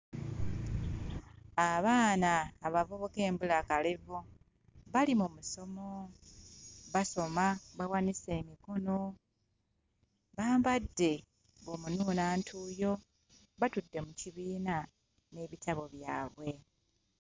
Abaana abavubuka embulakalevu bali mu musomo basoma bawanise emikono bambadde omunuunantuuyo batudde mu kibiina n'ebitabo byabwe.